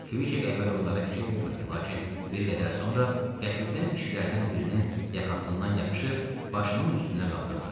Kviq əvvəl onlara fikir vermədi, lakin bir qədər sonra qəfildən kişilərdən birinin yaxasından yapışıb başının üstünə qaldırdı.